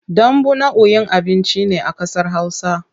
Dambu nau'in abinci ne a kasar hausa.